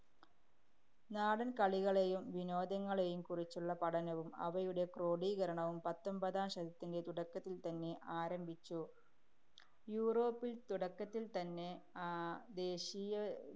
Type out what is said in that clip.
നാടന്‍കളികളെയും വിനോദങ്ങളെയും കുറിച്ചുള്ള പഠനവും അവയുടെ ക്രോഡീകരണവും പത്തൊമ്പതാം ശതത്തിന്‍റെ തുടക്കത്തില്‍ത്തന്നെ ആരംഭിച്ചു. യൂറോപ്പില്‍ തുടക്കത്തില്‍ തന്നെ ആഹ് ദേശീയ